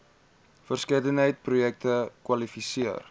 verskeidenheid projekte kwalifiseer